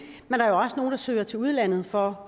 søger til udlandet for